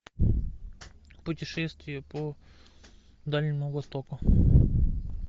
путешествия по дальнему востоку